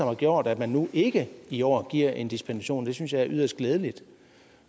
har gjort at man nu ikke i år giver en dispensation og det synes jeg er yderst glædeligt